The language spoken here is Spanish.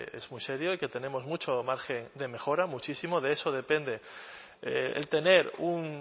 es muy serio y que tenemos mucho margen de mejora muchísimo de eso depende el tener un